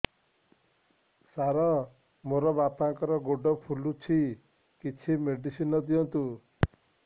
ସାର ମୋର ବାପାଙ୍କର ଗୋଡ ଫୁଲୁଛି କିଛି ମେଡିସିନ ଦିଅନ୍ତୁ